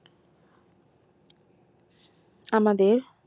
আমাদের